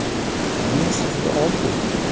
Hammasi juda oddiy!